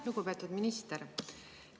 Lugupeetud minister!